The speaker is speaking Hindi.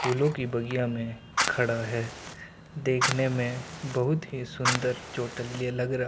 फूलों की बगिया में खड़ा है देखने में बहुत ही सुंदर चोटलिया लगा रहा --